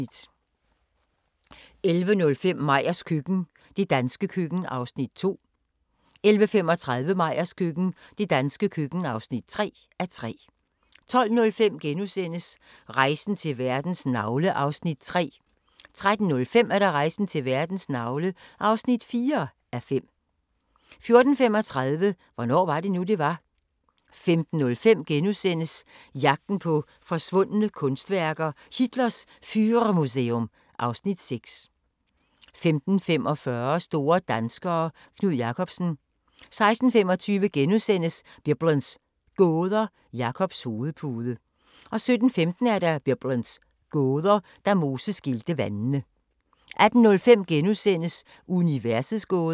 11:05: Meyers køkken – det danske køkken (2:3) 11:35: Meyers køkken – det danske køkken (3:3) 12:05: Rejsen til verdens navle (3:5)* 13:05: Rejsen til verdens navle (4:5) 14:35: Hvornår var det nu, det var? 15:05: Jagten på forsvundne kunstværker: Hitlers Führermuseum (Afs. 6)* 15:45: Store danskere - Knud Rasmussen 16:25: Biblens gåder – Jakobs hovedpude * 17:15: Biblens gåder – Da Moses skilte vandene 18:05: Universets gåder *